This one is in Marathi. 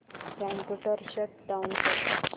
कम्प्युटर शट डाउन कर